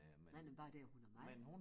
Men bare det at hun er med